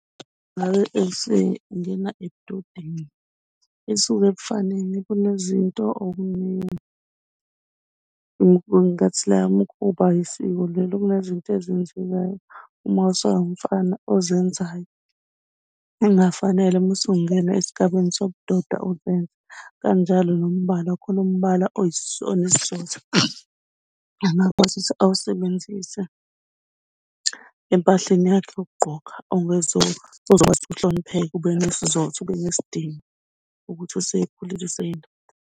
Ngabe esengena ebudodeni isuke kufanele kunezinto okuningi. Ngathi la ukuba yisiko vele kunezinto ezenziwayo. Uma usawumfana ozenzayo ongafanele musungena esigabeni sobudoda uzenze. Kanjalo nombala khona umbala onesizotha angakwazi ukuthi awasebenzise empahleni yakhe yokugqoka ozokwazi ukuhlonipheka ube nesizotha, ube nesidima ukuthi usekhulile .